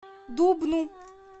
дубну